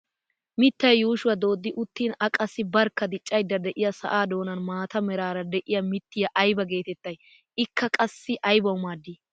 Mittay yuushshuwaa dooddi uttin a qassi barkka diccayda de'iyaa sa'aa doonan maata meraara de'iyaa mittiyaa ayba getettay? ikka qassi aybawu maaddii?